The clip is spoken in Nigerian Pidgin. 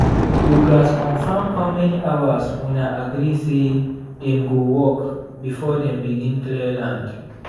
you gats confirm how many hours una agree say dem go work before dem begin clear land.